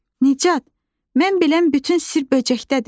Nicat, mən bilən bütün sir böcəkdədir.